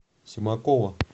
семакова